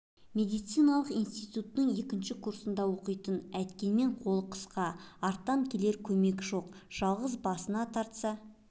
медициналық институттың екінші курсында оқитын әйткенмен қол қысқа арттан келер көмек жоқ жалғыз басына тартса